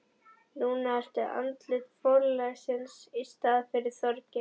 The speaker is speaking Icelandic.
Núna ertu andlit forlagsins í staðinn fyrir Þorgeir.